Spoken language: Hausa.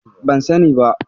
Ban sani ba.